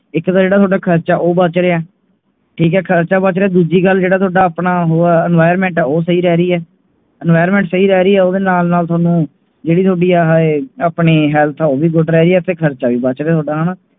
ਇਕ ਤੋਂ ਜੇੜਾ ਟੌਹਡ਼ਾ ਖਰਚਾ ਉਹ ਬਚ ਰਿਹਾ ਠੀਕ ਹੈ ਖਰਚਾ ਬਚ ਰਿਹਾ ਹੈ ਦੂਜੀ ਗੱਲ ਜੇੜਾ ਟੌਹਡ਼ਾ ਆਪਣਾ ਉਹ ਹੈ environment ਉਹ ਸਹੀ ਰਹਿ ਰਹੀ environment ਸਹੀ ਰਹਿ ਹੈ ਓਦੇ ਨਾਲ ਨਾਲ ਥੋਨੂੰ ਜੇੜੀ ਤੁਹਾਡੀ ਆ ਏ ਆਪਣੀ health ਹੈ ਓਹ ਵੀ good ਰਹ ਰਹੀ ਹੈ ਤੇ ਖਰਚਾ ਵੀ ਬਚ ਰਿਹਾ ਥੋਡਾ ਹਾਣਾ